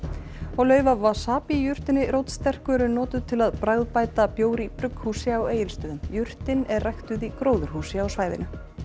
lauf af wasabi jurtinni rótsterku eru notuð til að bragðbæta bjór í brugghúsi á Egilsstöðum jurtin er ræktuð í gróðurhúsi á svæðinu